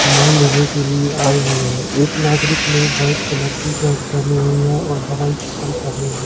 सामान लेने के लिए आए हुए हैं एक नागरिक ने व्हाइट कलर की शर्ट पहनी हुई है और हवाई चप्पल पहने हैं।